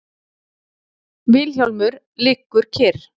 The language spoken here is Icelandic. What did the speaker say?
Vilhjálmur liggur kyrr.